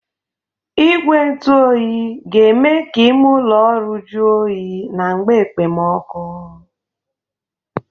Igwe ntụ oyi ga-eme ka ime ụlọ ọrụ jọ oyi na mgbe ekpemọkụ